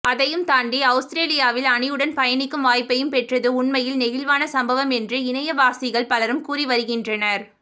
அதையும் தாண்டி அவுஸ்திரேலியா அணியுடன் பயணிக்கும் வாய்ப்பையும் பெற்றது உண்மையில் நெகிழ்வான சம்பவம் என்று இணையவாசிகள் பலரும் கூறி வருகின்றனர்